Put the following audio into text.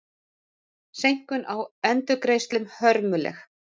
Seinkun á endurgreiðslum hörmuleg